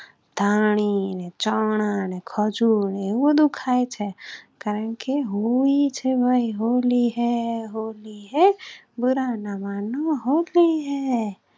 ધાણી, ચણા, ખજૂર અને વધુ ખાય છે, કારણ કે હોલી છે ભાઈ હોલી હૈ હોલી હૈ બુરા ના માનો હોલી હૈ.